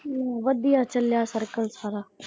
ਵਧੀਆ ਚੱਲਿਆ ਸਰਕਲ ਸਾਰਾ।